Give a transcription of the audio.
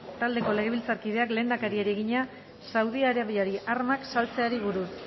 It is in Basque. taldeko legebiltzarkideak lehendakariari egina saudi arabiari armak saltzeari buruz